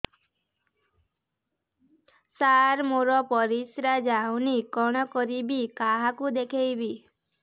ସାର ମୋର ପରିସ୍ରା ଯାଉନି କଣ କରିବି କାହାକୁ ଦେଖେଇବି